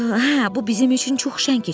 Hə, bu bizim üçün çox şən keçər.